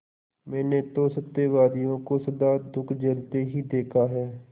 मैंने तो सत्यवादियों को सदा दुःख झेलते ही देखा है